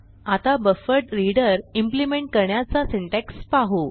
आता BufferedReader implement करण्याचा syntax पाहू